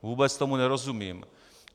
Vůbec tomu nerozumím.